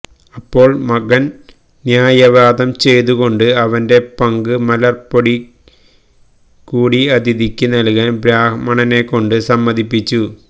അപ്പോൾ മകൻ ന്യായവാദംചെയ്തുകൊണ്ട് അവന്റെ പങ്ക് മലർപ്പൊടികൂടി അതിഥിക്ക് നൽകാൻ ബ്രാഹ്മണനെക്കൊണ്ട് സമ്മതിപ്പിച്ചു